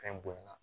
Fɛn bonya na